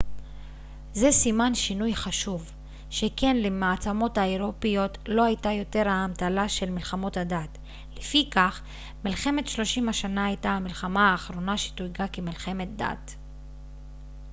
זה סימן שינוי חשוב שכן למעצמות האירופיות לא הייתה יותר האמתלה של מלחמות הדת לפיכך מלחמת שלושים השנה הייתה המלחמה האחרונה שתויגה כמלחמת דת